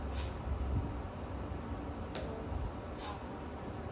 હમ હા સારું